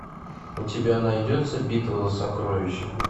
у тебя найдется битва за сокровища